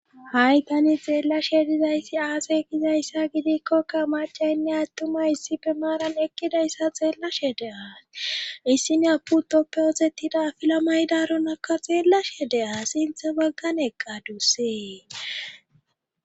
hai tani xeellashe dizayssi aase gizayssa gidikkokka macaynne attuma issife maaran eqqidayssa xeellashe de7aas issina pu toppe ozettida filamaydaronakka xeellashe de7as sinthe baggan eqqadussee